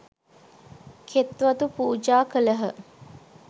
කෙත්වතු පූජා කළහ.